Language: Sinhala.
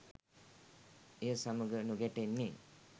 එය සමඟ නොගැටෙන්නේ